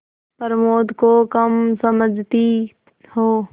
प्रमोद को कम समझती हो